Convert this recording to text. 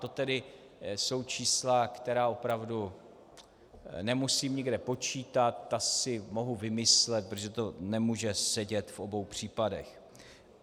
To tedy jsou čísla, která opravdu nemusím nikde počítat, ta si mohu vymyslet, protože to nemůže sedět v obou případech.